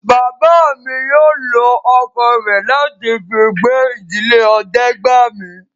Bàbá mi yóò lọ ọkọ̀ rẹ̀ láti fi gbé ìdílé Ọdẹ́gbàmi